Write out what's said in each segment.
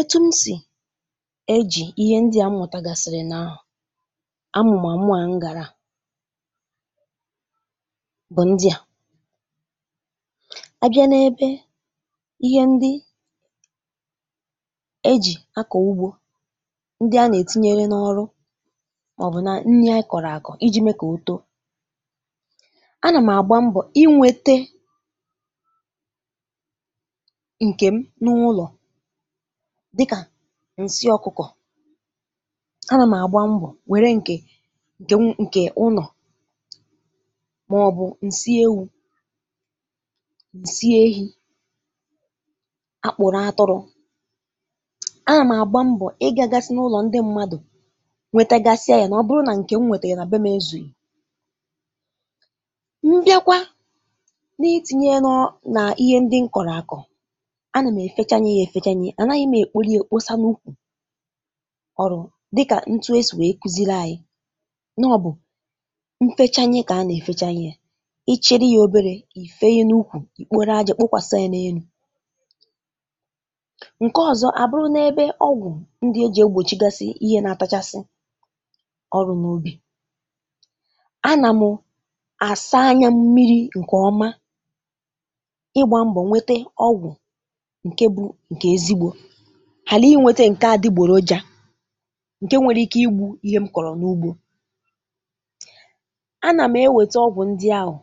Etu̇ m sì ejì ihe ndị̇ a mmụ̀tagàsị̀rị̀ na-amụ̀màmụ à m gàrà bụ̀ ndịà. A bịa n’ebe ihe ndị ejì akọ̀ ugbȯ, ndị a nà-ètinyeghi n’ọrụ màọ̀bụ̀ na nni a kọ̀rọ̀ àkọ̀ iji̇ mee kà oto. Anà m̀ àgba mbọ̀ inwėte ǹkè m n’ụlọ̀ di ka ǹsị ọ̀kụkọ̀. A nà m àgba mbọ̀ nwèrè ǹkè nk n ǹkè ụnọ màọbụ̀ ǹsị ewu̇, ǹsị ehi̇, akpụrụ atụrụ. A nà m agba mbọ̀ ịgȧ gasị n’ụlọ̀ ndị mmadụ̀ nwètagasịa yȧ nà ọ bụrụ nà ǹkè m nwètère nà be m ezùghi. M bịakwa n’iti̇nyė nọ nà ihe ndị m kọ̀rọ̀ akọ̀, ana m efechanye ya efecha, anaghị m ekporo e kpọsa na-ukwu ọrụ̇ dịkà ntu esì wèe kuziri anyị nọ ọ̇bụ̀ nfecha ṅye kà a nà-èfecha ṅye yȧ. Ịchịrị ya oberė, ìfenye n’ukwù, ikporo aja kpokwasa ya n’enu̇, ǹke ọzọ̇ àbụrụ n’ebe ọgwụ̀ ndị e jì egbòchigasị ihe na-àtachasị ọrụ n’ubi̇ a nà mụ àsa anyȧ mmi̇ri̇ ǹkè ọma ịgbȧ mbọ̀ nwete ọgwụ̀ ǹke bụ̇ ǹkè ezigbȯ hàla inwėtė ǹke adị̇gbòroja ǹke nwere ike igbu̇ ihe m kọ̀rọ̀ n’ugbȯ. Anà m̀ ewète ọgwụ̀ ndị ahụ̀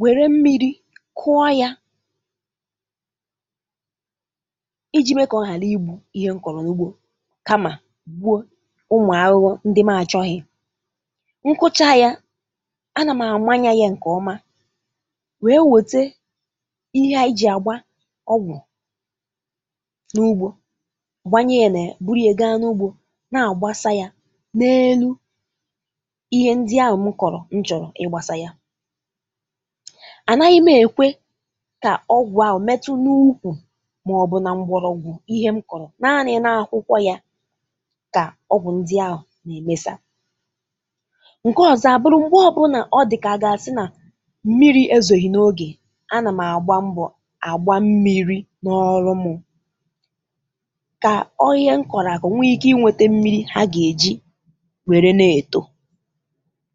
wère mmi̇ri̇ kụọ yȧ, iji mee kà ọ hàla igbu ihe m kọ̀rọ̀ n’ugbȯ kamà gbuo ụmụ̀ arụrụ ndị m àchọghị̇. Nkụcha yȧ, anà m àmanya yȧ ǹkè ọma wee wète ihe à iji̇ àgba ọgwụ̀ n'ugbo, gbanye ya nà ya, buruye gaa n’ugbȯ na-àgbasa yȧ n’elu ihe ndị ahụ̀ m kọ̀rọ̀ nchọ̀rọ̀ ịgbȧsa yȧ. Anaghị̇ m èkwe kà ọgwụ̀ ahụ̀ metu n’ukwù màọbụ̇ na mgbọrọ̇gwù ihe m kọ̀rọ̀ naanị̇ na-akwụkwọ yȧ kà ọgwụ̀ ndị ahụ̀ na-emesa. Nke ọ̀zọ àbụrụ̇ m̀gbe ọ̇bụ̇nà ọ dị̀kà àgàsị nà mmiri̇ èzòghì n’ogè a nà m àgba mbọ̀ àgba mmi̇ri̇ na ọrụ mụ̇ ka ọ ihe nkọ̀rakọ̀ nwe ike ịnwetė mmiri ha ga-eji were na-eto.